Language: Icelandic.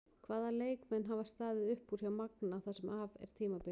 Hvaða leikmenn hafa staðið upp úr hjá Magna það sem af er tímabili?